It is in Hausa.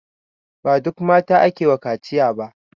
Ba duk mata ake wa kaciya ba.